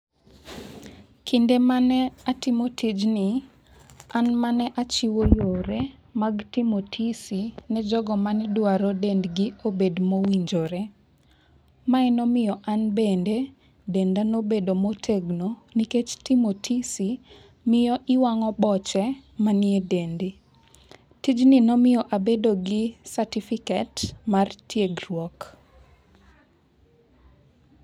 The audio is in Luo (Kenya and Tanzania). Kinde mane atimo tijni an mane achiwo yore mag timo tizi ne jogo manedrawo dendgi obed mowinjore. Mae nomiyo an bende denda nobedo motegno nikech timo tizi miyo iwang'o boche maniedendi. Tijni nomiyo abedo gi certificate mar tiegruok.